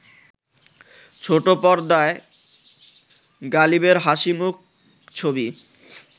ছোট পর্দায় গালিবের হাসিমুখ ছবি